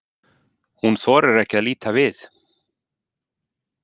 Hún þorir ekki að líta við.